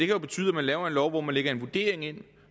jo betyde at man laver en lov hvor man lægger en vurdering ind